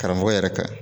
Karamɔgɔ yɛrɛ ka